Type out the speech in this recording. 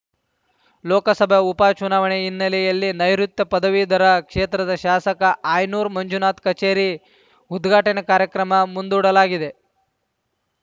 ಲೋಕಸಭಾ ಉಪ ಚುನಾವಣೆ ಹಿನ್ನೆಲೆಯಲ್ಲಿ ನೈಋುತ್ಯ ಪದವೀಧರ ಕ್ಷೇತ್ರದ ಶಾಸಕ ಆಯನೂರು ಮಂಜುನಾಥ್ ಕಚೇರಿ ಉದ್ಘಾಟನಾ ಕಾರ್ಯಕ್ರಮ ಮುಂದೂಡಲಾಗಿದೆ